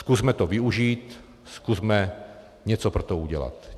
Zkusme to využít, zkusme něco pro to udělat.